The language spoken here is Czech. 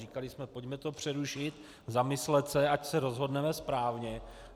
Říkali jsme, pojďme to přerušit, zamyslet se, ať se rozhodneme správně.